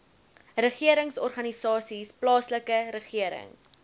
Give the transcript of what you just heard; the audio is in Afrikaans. regeringsorganisasies plaaslike regering